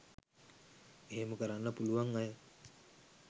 එහෙම කරන්න පුලුවන් අය